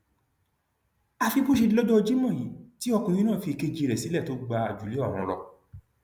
àfi bó ṣe di lọjọ jimoh yìí tí ọkùnrin náà fi ìkejì rẹ sílẹ tó gba àjùlé ọrun lọ